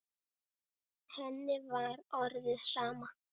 Henni var orðið sama.